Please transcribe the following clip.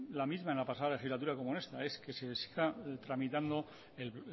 la misma en la pasada legislatura como en esta es que se está tramitando el